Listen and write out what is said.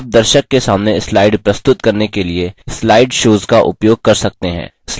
आप दर्शक के सामने slide प्रस्तुत करने के लिए slide shows का उपयोग कर सकते हैं